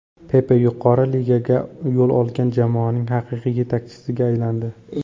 Pepe yuqori ligaga yo‘l olgan jamoaning haqiqiy yetakchisiga aylandi.